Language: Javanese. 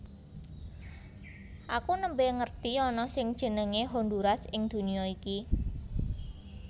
Aku nembe ngerti ana sing jenenge Honduras ning dunya iki